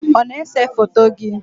ọ na-ese foto gị?